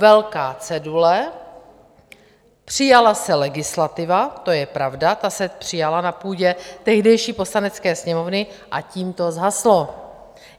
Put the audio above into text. Velká cedule, přijala se legislativa, to je pravda, ta se přijala na půdě tehdejší Poslanecké sněmovny, a tím to zhaslo.